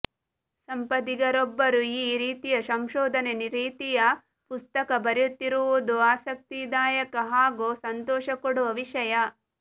ಸಂಪದಿಗರೊಬ್ಬರು ಈ ರೀತಿಯ ಸಂಶೋದನ ರೀತಿಯ ಪುಸ್ತಕ ಬರೆಯುತ್ತಿರುವುದು ಆಸಕ್ತಿದಾಯಕ ಹಾಗು ಸಂತೋಷಕೊಡುವ ವಿಷಯ